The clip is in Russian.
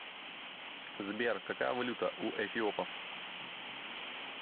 сбер какая валюта у эфиопов